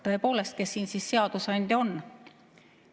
Tõepoolest, kes siin siis seadusandja on?